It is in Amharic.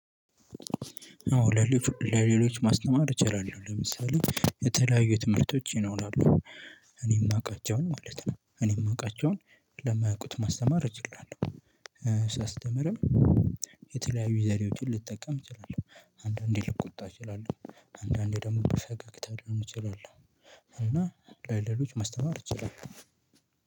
አዎ ለሌሎች ማስተማር እችላለሁ። ለምሳሌ የተለያዩ ትምህርቶች ይኖራሉ። እኔ የማውቃቸውን ማለት ነው። እኔ የማውቃቸውን ለማያውቁት ማስተማር እችላለሁ። ሳስተምርም የተለያዩ ዘዴዎችን ልጠቀም እችላለሁ። አንዳንዴ ልቆጣ እችላለሁ። አንዳንዴ ደግሞ በፈገግታ ልሆን እችላለሁ። እና ለሌሎች ማስተማር እችላለሁ።